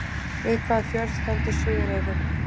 Við hvaða fjörð stendur Suðureyri?